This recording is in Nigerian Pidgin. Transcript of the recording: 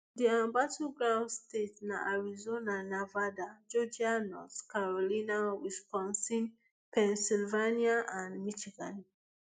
di um battleground states na arizona nevada georgia north carolina wisconsin pennsylvania and michigan